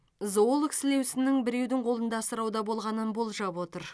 зоолог сілеусіннің біреудің қолында асырауда болғанын болжап отыр